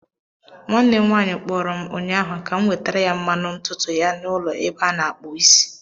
Nwanne m nwaanyị kpọrọ m ụnyaahụ ka m wetara ya mmanụ ntutu ya n'ụlọ ebe a na-akpụ isi.